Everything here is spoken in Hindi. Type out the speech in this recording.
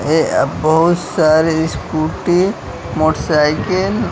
ये बहुत सारी स्कूटी मोटरसाइकल --